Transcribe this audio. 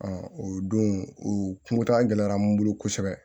o don u kuntaaga gɛlɛyara n bolo kosɛbɛ